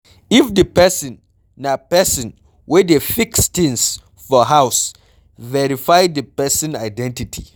if di person na person wey dey fis things for house, verify di person identity